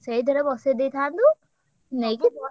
ସେଇଥେରେ ବସେଇଦେଇଥାନ୍ତୁ ନେଇକି ।